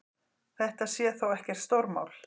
Þetta sé þó ekkert stórmál.